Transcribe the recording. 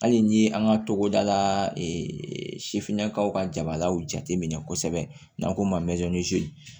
Hali ni an ka togoda la sifinnakaw ka jabalaw jate minɛ kosɛbɛ n'an ko mazin